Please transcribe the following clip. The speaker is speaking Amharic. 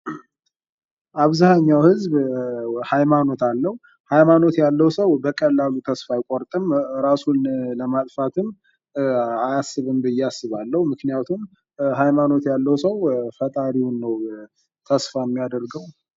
አብዛኛው ህዝብ በሃይማኖት አለው ሀይማኖት ሃይማኖት ያለው ሰው በቀላሉ ተስፋ አይቆርጥም። ራሱንም ያጠፋል ብዬ አላስብም ምክንያቱም ሐይማኖት ያለው ሰው ፈጣሪውን ነው ተስፋ የሚያደርገው።